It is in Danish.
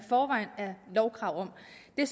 det